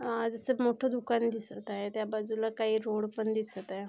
अ जसं मोठं दुकान दिसत आहे त्या बाजूला काही रोड पण दिसत आहे.